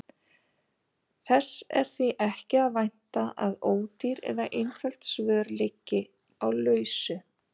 Þess er því ekki að vænta að ódýr eða einföld svör liggi á lausu.